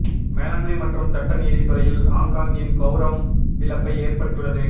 மேலாண்மை மற்றும் சட்ட நீதி துறையில் ஹாங்காங்கின் கௌரவம் இழப்பை ஏற்படுத்தியுள்ளது